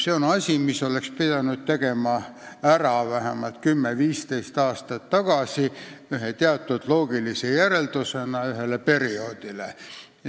See on asi, mille oleks pidanud ära tegema vähemalt 10–15 aastat tagasi teatud loogilise järelmina ühele perioodile.